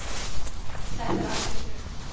Þetta er algjört rugl